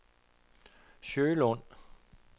Sjølund